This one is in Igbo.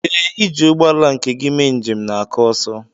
ee, iji ụgbọ ala nke gị mee njem na-aka ọsọ